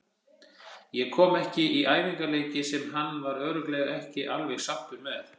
Ég kom ekki í æfingaleiki sem hann var örugglega ekki alveg sáttur með.